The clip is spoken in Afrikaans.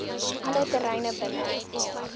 alle terreine binne